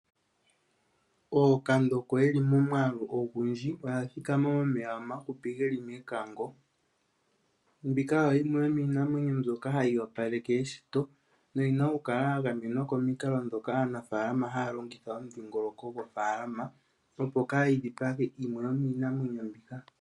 Ookandoko yeli momwaalu ogundji oya thikama momeya omahupi geli mekango. Mbika oyo yimwe yomiinamwenyo mbyoka hayi opaleke eshito noyina oku kala ya gamenwa komikalo ndhoka aanafaalama haya longitha omudhingoloko gofaalama opo kaayi dhipage yimwe yomiinamwenyo mbika.